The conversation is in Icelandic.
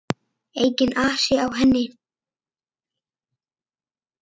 Enginn asi á henni.